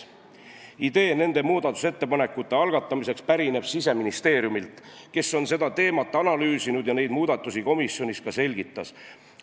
Idee nende muudatusettepanekute algatamiseks pärineb Siseministeeriumilt, kes on seda teemat analüüsinud ja neid muudatusi komisjonis ka selgitas.